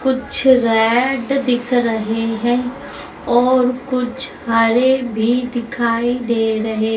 कुछ रेड दिख रहे हैं और कुछ हरे भी दिखाई दे रहे--